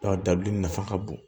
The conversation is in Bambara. dabilenni nafa ka bon